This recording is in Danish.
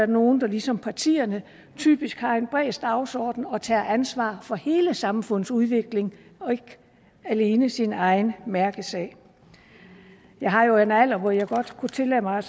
nogle der ligesom partierne typisk har en bred dagsorden og tager ansvaret for hele samfundets udvikling og ikke alene for sin egen mærkesag jeg har jo en alder hvor jeg godt kunne tillade mig